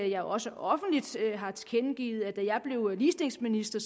jeg også offentligt har tilkendegivet at da jeg blev ligestillingsminister